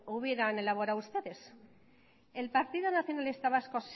hubieran elaborado ustedes el partido nacionalista vasco